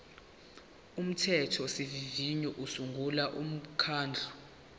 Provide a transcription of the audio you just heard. umthethosivivinyo usungula umkhandlu